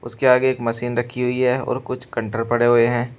उसके आगे एक मशीन रखी हुई है और कुछ कंटर कंटेनर पड़े हुए हैं।